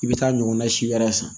I bɛ taa ɲɔgɔnna si wɛrɛ san